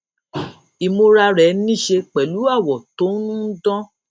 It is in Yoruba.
ìmúra rẹ níṣe pẹlú àwò tó ń dán